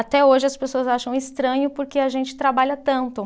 Até hoje as pessoas acham estranho porque a gente trabalha tanto.